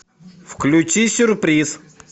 включи сюрприз